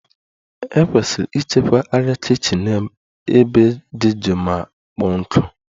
E kwesiri ịchekwa arịa kichin n'ebe dị jụụ ma kpọọ nkụ.